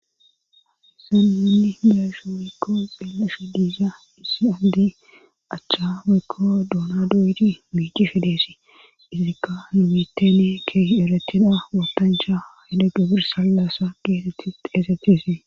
ahseminni diasha mekko xeellefi diiza issi andi achcha mekko duuna doyti miici fe deesi izika nimitene keehi eretina ootancha hida gabirsallasa geesetti xeesetisee